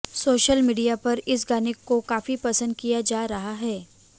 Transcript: social media पर इस गाने को काफी पसंद किया जा रहा है